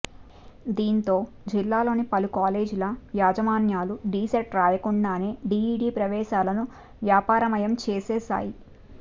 దీంతో జిల్లాలోని పలు కాలేజీల యాజమాన్యాలు డీసెట్ రాయకుండానే డీఈడీ ప్రవేశాలను వ్యాపారమయం చేసేశాయి